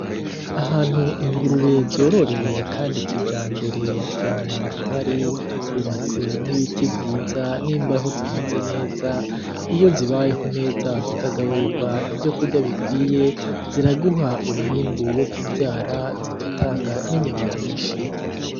Ahantu ingurube zororewe kandi kijambere, nta mwanda uhari, hubatse n'ibiti vyiza, n'imbaho zimeze neza, iyo zibayeho neza zikagaburigwa ivyo kurya bikwiye, ziraguha umwimbu wo kuvyara, zigatanga n'inyama nyinshi.